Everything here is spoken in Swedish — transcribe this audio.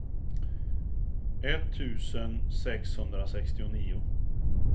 etttusen sexhundrasextionio